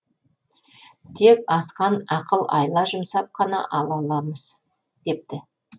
тек асқан ақыл айла жұмсап қана ала аламыз депті